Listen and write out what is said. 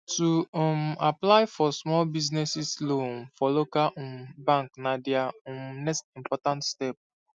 to um apply for small business loan for local um bank na dia um next important step